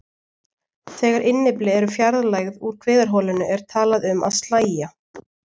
Þegar innyfli eru fjarlægð úr kviðarholinu er talað um að slægja.